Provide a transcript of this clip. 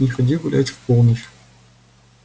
не ходи гулять в полночь